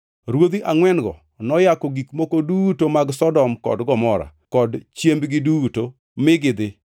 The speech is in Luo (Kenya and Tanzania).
Ruodhi angʼwen-go noyako gik moko duto mag Sodom kod Gomora kod chiembgi duto mi gidhi.